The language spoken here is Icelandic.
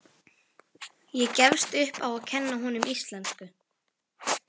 Ég gefst upp á að kenna honum íslensku.